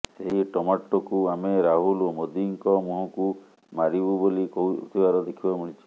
ସେହି ଟମାଟର୍କୁ ଆମେ ରାହୁଲ ଓ ମୋଦିଙ୍କ ମୁହଁକୁ ମାରିବୁ ବୋଲି କହୁଥିବାର ଦେଖିବାକୁ ମିଳିଛି